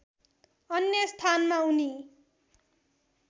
अन्य स्थानमा उनी